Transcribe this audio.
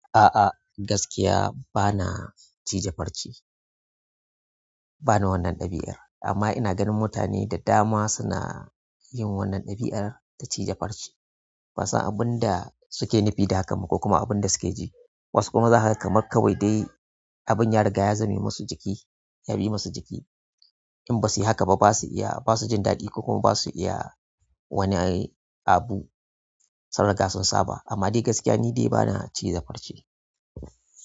A'a, gaskiya bana cije farce, bana wannan ɗabi'ar amma ina ganin mutane da dama suna yin wannan ɗabi'ar ta cije farce. Ban san abin da suke nufi da haka ba ko kuma abin da suke ji. Wasu kuma za ka kamar kawai dai abin ya riga ya zame musu jiki, ya bi musu jiki. In ba su yi haka ba ba su iya, ba su jin daɗi ko kuma ba su iya wani abu, saboda haka sun saba amma dai gaskiya ni dai bana cije farce.